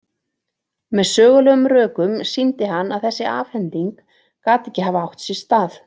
Með sögulegum rökum sýndi hann að þessi afhending gat ekki hafa átt sér stað.